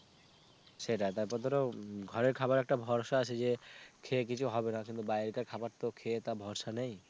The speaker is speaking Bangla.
সেটাই তারপর ধর ঘরের খাবারে একটা ভরসা আছে যে খেয়ে কিছু হবে না কিন্তু বাইরে কার খাবার তো খেয়ে তা ভরসা নেই